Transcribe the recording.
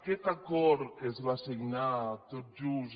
aquest acord que es va signar tot just